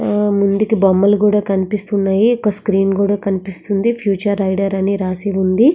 ముందుకి బొమ్మలు కూడా కనిపిస్తుంది ఒక స్క్రీన్ కూడా కనిపిస్తుంది. ఫ్యూచర్ ఐడియా అని రాసి ఉంది.